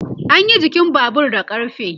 anyi jikin Babur da ƙarfe